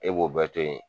E b'o bɛɛ to yen